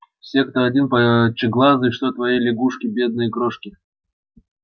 все как один пучеглазые что твои лягушки бедные крошки